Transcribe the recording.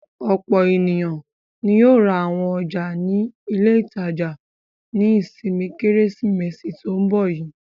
Ọ̀pọ̀ ènìyàn ni yóò ra àwọn ọjà ní ilé-ìtajà ní ìsinmi Kérésìmesì tó ń bọ̀ yìí.